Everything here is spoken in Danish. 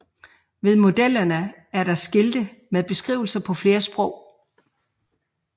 Ved modellerne er der skilte med beskrivelser på flere sprog